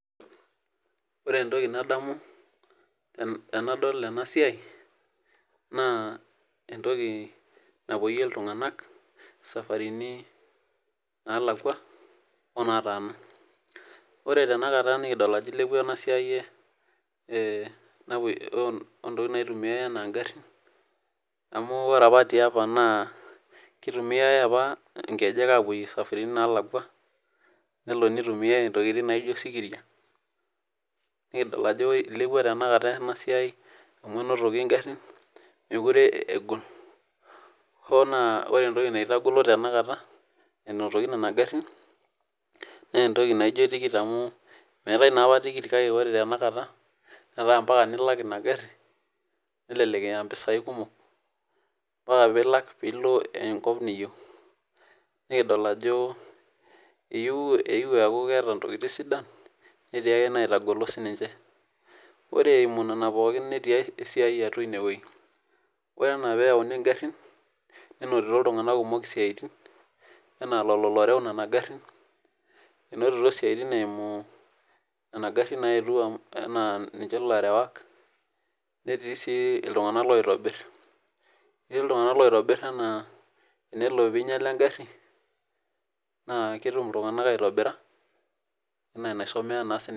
ore entoki nadamu tenadol ena siiai naa entoki napuoyio iltungank isafarini naalakua onaataana. ore tenakata nadol ajo ilepua ena siai oo ntokitin naitumiae ana igarin, amu ore ap tiapa naa, kitumiae apa nkejek aaapoyie safaritin naalakua, nitumiae ntokitin naijo osikiria, nikidol ajo ilepua tenakata ena siai amu enotoki garin meekure egol, hoo na ore entoki naitagolo tena kata enotoki nena garin, naa entoki naijo tikit amu meetae naa apa tikit netaa ore tenakata netaa mpaka nilak ina gari nelelek eya mpisai kumok, kifaa pee ilak pee ilo enkop niyieu. nikidol ajo eyiue eeku keeta ntokitin sidan, neyieu egolu ninche. ore eimu nena pookin, netii esiai ine wueji, ore ana pee eyauni garin nenotito iltunganak kumok isiatinanaa lelo looreu nena garin. enotito siatin eimu, nena garin naayetuo anaa ninche ilarewak, netii sii iltunganak loitobir, ketii iltunganak laa tenelo pe eingiala egari, anaa netum iltungank aitobira, anaa enaisomeya na sii ninche.